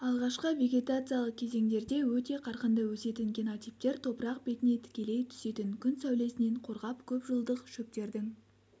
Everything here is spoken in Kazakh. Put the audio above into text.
алғашқы вегетациялық кезеңдерде өте қарқынды өсетін генотиптер топырақ бетіне тікелей түсетін күн сәулесінен қорғап көпжылдық шөптердің